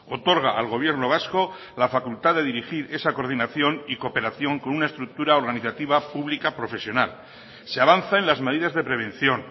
otorga al gobierno vasco la facultad de dirigir esa coordinación y cooperación con una estructura organizativa pública profesional se avanza en las medidas de prevención